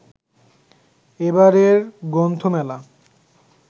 এবারের গ্রন্থমেলা